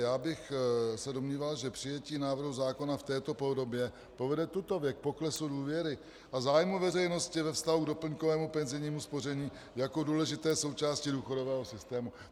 Já bych se domníval, že přijetí návrhu zákona v této podobě povede tutově k poklesu důvěry a zájmu veřejnosti ve vztahu k doplňkovému penzijnímu spoření jako důležité součásti důchodového systému.